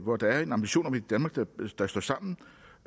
hvor der er en ambition om et danmark der står sammen